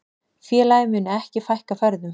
Félagið muni ekki fækka ferðum.